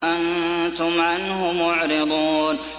أَنتُمْ عَنْهُ مُعْرِضُونَ